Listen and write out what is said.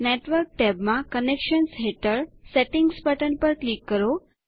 network ટેબમાં connections હેઠળ settings button પર ક્લિક કરો